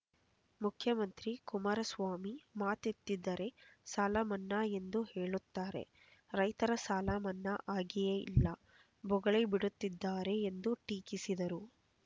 ಮುಖ್ಯಮಂತ್ರಿ ಕುಮಾರಸ್ವಾಮಿ ಮಾತೆತ್ತಿದರೆ ಸಾಲ ಮನ್ನಾ ಎಂದು ಹೇಳುತ್ತಾರೆ ರೈತರ ಸಾಲ ಮನ್ನಾ ಆಗಿಯೇ ಇಲ್ಲ ಬೊಗಳೆ ಬಿಡುತ್ತಿದ್ದಾರೆ ಎಂದು ಟೀಕಿಸಿದರು